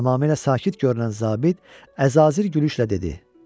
Tamamilə sakit görünən zabit əzazir gülüşlə dedi: